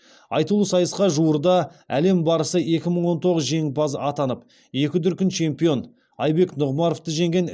айтулы сайысқа жуырда әлем барысы екі мың он тоғыз жеңімпазы атанып екі дүркін чемпион айбек нұғымаровты жеңген